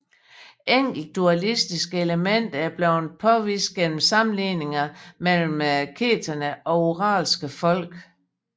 Enkelte dualistiske elementer er blevet påvist gennem sammenligninger mellem keterne og uralske folk